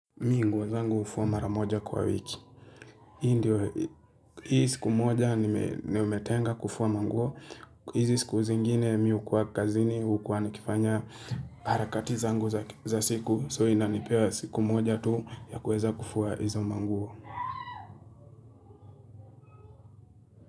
Mimi nguo zangu hufua mara moja kwa wiki. Hii ndio, hii siku moja ni metenga kufua manguo. Hizi siku zingine mimi hukuwa kazini, hukuwa nikifanya harakati zangu za siku. So inanipewa siku moja tu ya kuweza kufua hizo manguo.